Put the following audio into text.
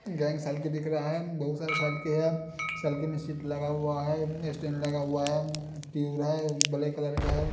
साल्की दिख रहा है बहुत सारे साल्की है साल्की में सीट लगा हुआ है इसमें स्टैंड लगा हुआ है उम्म ट्यूब है ब्लैक कलर का है।